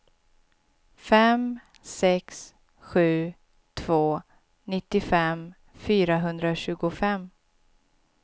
fem sex sju två nittiofem fyrahundratjugofem